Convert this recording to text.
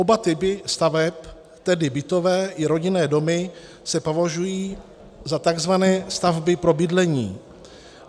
Oba typy staveb, tedy bytové i rodinné domy, se považují za tzv. stavby pro bydlení.